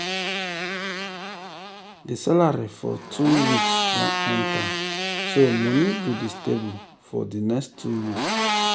the salary for two weeks don enter so money go dey stable for di next two weeks.